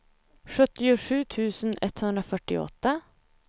sjuttiosju tusen etthundrafyrtioåtta